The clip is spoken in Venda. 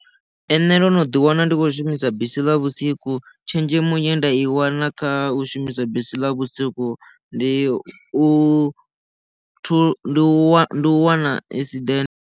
Ee nṋe ndo no ḓi wana ndi khou shumisa bisi ḽa vhusiku tshenzhemo ye nda i wana kha u shumisa bisi ḽa vhusiku ndi u wa u wana esidennde.